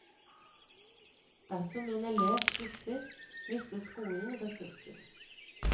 Dersom en elev slutter, mister skolen ressurser.